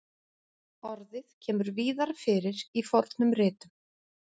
Orðið kemur víðar fyrir í fornum ritum.